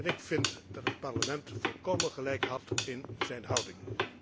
Ik vind dat het Parlement volkomen gelijk had in zijn houding.